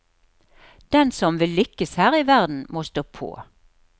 Den som vil lykkes her i verden, må stå på.